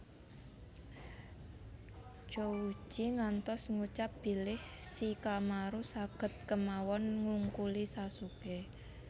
Chouji ngantos ngucap bilih Shikamaru saged kemawon ngungkuli Sasuké